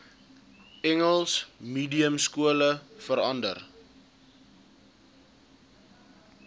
engels mediumskole verander